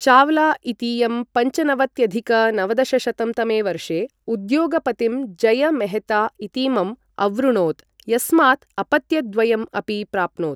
चाव्ला इतीयं पञ्चनवत्यधिक नवदशशतं तमे वर्षे उद्योगपतिं जय मेहता इतीमम् अवृणोत्, यस्मात् अपत्यद्वयम् अपि प्राप्नोत्।